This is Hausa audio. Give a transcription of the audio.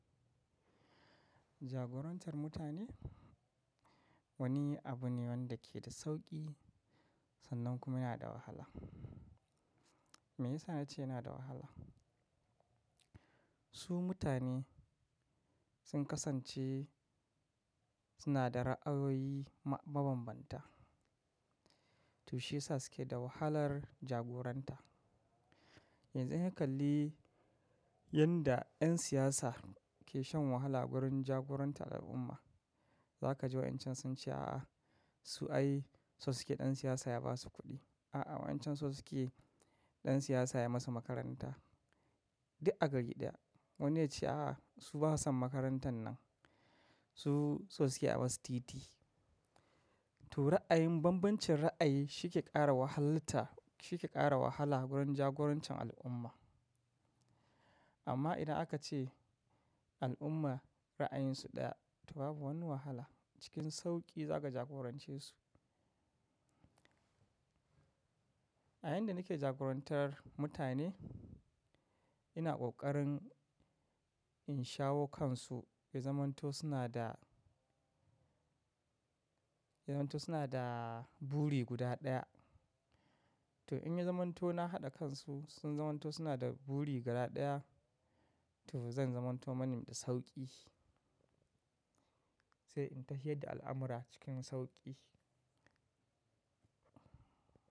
Jagorantar mutane wani abu ne wanda ke da sauƙi sannan kuma yana da wahala. Me yasa nace yana da wahala? Su mutane sun kasance suna da ra'ayoyi mabanbanta, to shi ya sa suke da wahalar jagoranta. Yanzu in ka kalli yadda 'yan siyasa ke shan wahala wurin jagorantar al'umma, za ka ji wa'incan sun ce, "A'a, su ai so suke ɗan siyasa ya ba su kuɗi. A'a, wa'incan so suke ɗan siyasa ya masu makaranta." Duk a gari ɗaya. Wani yace, "A'a, su ba su san makarantar nan. Su so suke ai masu titi. To ra'ayin bambancin ra'ayi shi ke ƙara wahalta shike kara wahala gurin jagorancin al'umma. Amma idan aka ce al'umma ra'ayinsu ɗaya, to babu wani wahala, cikin sauƙi za ka jagorance su. A yayin da nake jagorantar mutane, ina ƙoƙarin in shawo kansu, ya zamanto suna da buri guda ɗaya. To in ya zamanto na haɗa kansu, sun zamanto suna da buri guda ɗaya, to zan zamanto mani da sauƙi, sai in tahiyad da al'amura cikin sauƙi.